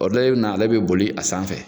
dɔ ye nɔ ale bɛ boli a sanfɛ.